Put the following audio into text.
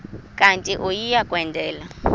kanti uia kwendela